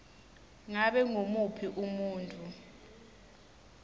ngabe ngumuphi umuntfu